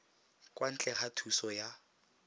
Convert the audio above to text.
kwa ntle ga thuso ya